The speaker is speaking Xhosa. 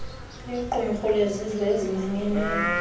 liqumrhu lezizwe ezimanyeneyo